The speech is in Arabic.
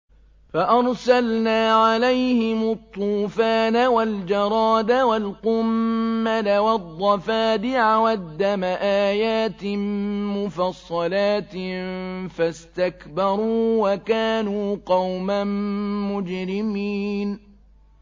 فَأَرْسَلْنَا عَلَيْهِمُ الطُّوفَانَ وَالْجَرَادَ وَالْقُمَّلَ وَالضَّفَادِعَ وَالدَّمَ آيَاتٍ مُّفَصَّلَاتٍ فَاسْتَكْبَرُوا وَكَانُوا قَوْمًا مُّجْرِمِينَ